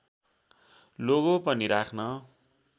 logo पनि राख्न